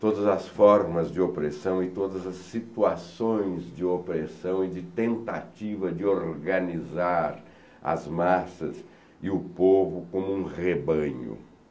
todas as formas de opressão e todas as situações de opressão e de tentativa de organizar as massas e o povo como um rebanho.